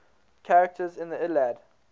characters in the iliad